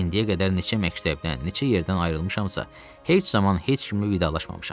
İndiyə qədər neçə məktəbdən, neçə yerdən ayrılmışamsa, heç zaman heç kimi vidalaşmamışam.